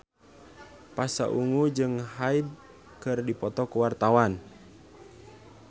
Pasha Ungu jeung Hyde keur dipoto ku wartawan